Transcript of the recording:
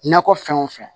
Nakɔ fɛn o fɛn